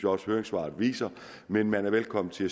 også høringssvaret viser men man er velkommen til